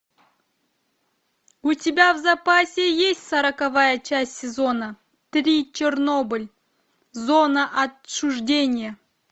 у тебя в запасе есть сороковая часть сезона три чернобыль зона отчуждения